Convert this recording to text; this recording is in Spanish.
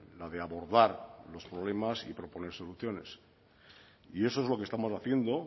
la de abordar los problemas y proponer soluciones y eso es lo que estamos haciendo